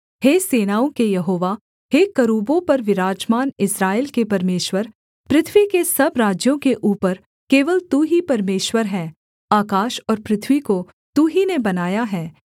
हे सेनाओं के यहोवा हे करूबों पर विराजमान इस्राएल के परमेश्वर पृथ्वी के सब राज्यों के ऊपर केवल तू ही परमेश्वर है आकाश और पृथ्वी को तू ही ने बनाया है